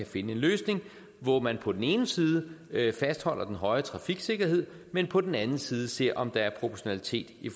finde en løsning hvor man på den ene side fastholder den høje trafiksikkerhed men på den anden side ser om der er proportionalitet i